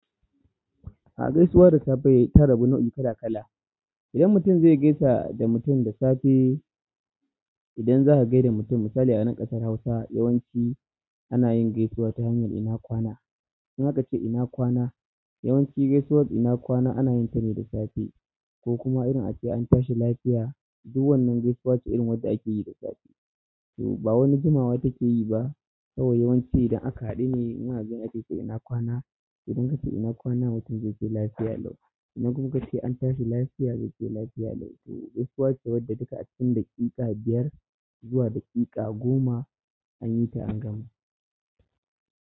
A gaisuwar da safe ta rabu nau'i kala kala. Idan mutum zai gaisa da mutum da safe, idan za ka gaida mutum misali a nan ƙasar Hausa yawanci ana yin gaisuwa ta hanyar ina kwana? In aka ce ina kwana? Yawanci gaisuwar ina kwana ana yin ta ne da safe ko kuma irin ake an tashi lafiya. Du wannan gaisuwa wacce akeyi da safe to ba wani jimawa take yi ba, kawai yawanci idan aka haɗu ne kawai zaace to ina kwana? Idan ka ce ina kwana, mutum zai ce lafiya lau. Idan kuma kace an tashi lafiya, zai ce lafiya lau. To gaisuwa ce wadda duka a cikin daƙiƙa biyar zuwa daƙiƙa goma an yi ta an gama.